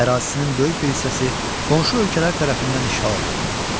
Ərazisinin böyük bir hissəsi qonşu ölkələr tərəfindən işğal olundu.